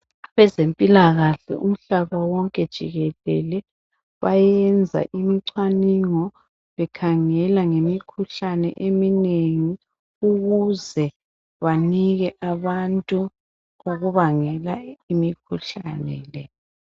Abezempilakahle umhlaba wonke jikelele bayenza imicwaningo bekhangela ngemikhuhlane eminengi ukuze banike abantu okubangela imikhuhlane le.